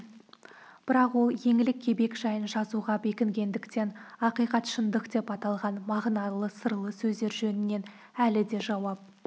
бірақ ол еңлік кебек жайын жазуға бекінгендіктен ақиқат шындық деп аталған мағыналы сырлы сөздер жөнінен әлі де жауап